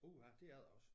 Uha det er det også